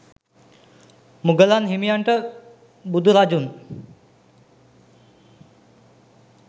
මුගලන් හිමියන්ට බුදුරදුන්